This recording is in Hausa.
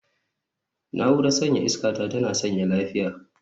Na'urar sanyaya iska ta tana sanyaya lafiya